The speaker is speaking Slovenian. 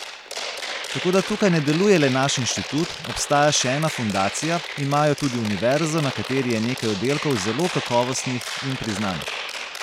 Tako da tukaj ne deluje le naš inštitut, obstaja še ena fundacija, imajo tudi univerzo, na kateri je nekaj oddelkov zelo kakovostnih in priznanih.